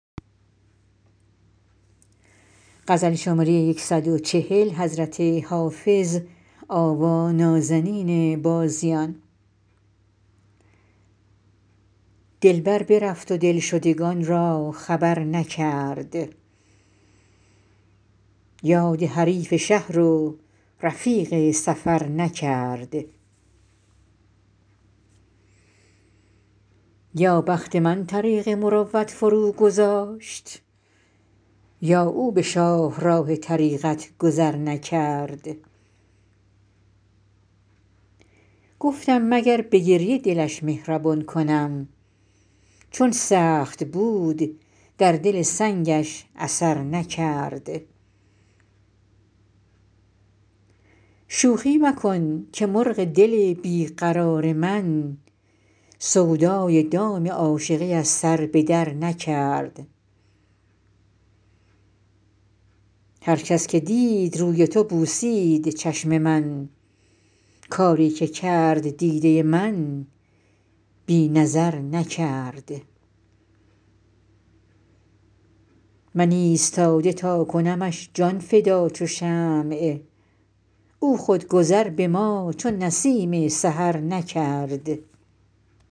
دلبر برفت و دلشدگان را خبر نکرد یاد حریف شهر و رفیق سفر نکرد یا بخت من طریق مروت فروگذاشت یا او به شاهراه طریقت گذر نکرد گفتم مگر به گریه دلش مهربان کنم چون سخت بود در دل سنگش اثر نکرد شوخی مکن که مرغ دل بی قرار من سودای دام عاشقی از سر به درنکرد هر کس که دید روی تو بوسید چشم من کاری که کرد دیده من بی نظر نکرد من ایستاده تا کنمش جان فدا چو شمع او خود گذر به ما چو نسیم سحر نکرد